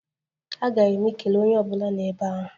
Aghaghị m ikele onye ọ bụla nọ ebe ahụ.